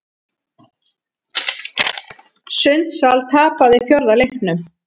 Sundsvall tapaði fjórða leiknum